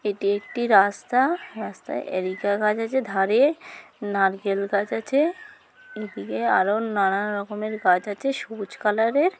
এটি একটি রাস্তা। রাস্তায় এরিকা গাছ আছে | ধারে নারকেল গাছ আছে | এদিকে আরো নানান রকমের গাছ আছে সবুজ কালার এর।